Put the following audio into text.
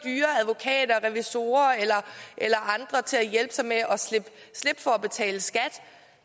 er revisorer eller andre til at hjælpe sig med at slippe for at betale skat